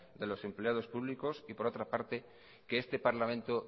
de los empleado públicos y por otra parte que este parlamento